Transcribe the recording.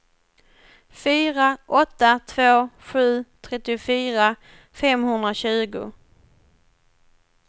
fyra åtta två sju trettiofyra femhundratjugo